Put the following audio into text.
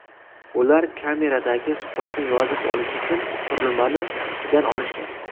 Ular kameradagi suhbatni yozib olish uchun qurilmani qutidan olishgan.